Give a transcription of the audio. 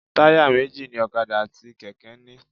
Táyà méjì ni ọ̀kadà àti kẹ̀kẹ́ ń ní.